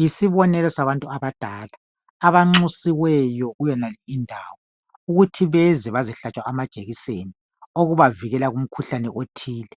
Yisibonelo sabantu abadala abanxusiweyo kuyonale indawo ukuthi beze bazehlatshwa amajekiseni okubavikela kumkhuhlane othile